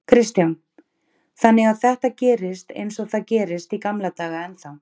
Kristján: Þannig að þetta gerist eins og það gerist í gamla daga ennþá?